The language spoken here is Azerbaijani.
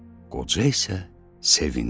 Qoca isə sevindi.